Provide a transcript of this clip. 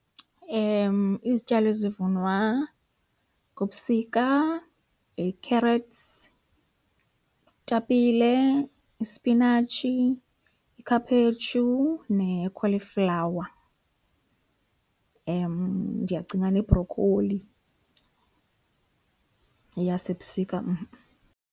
Izityalo ezivunwa ngobusika yi-carrots, itapile, ispinatshi, ikhaphetshu ne-cauliflower. Ndiyacinga nebrokholi yeyasebusika mh-mh.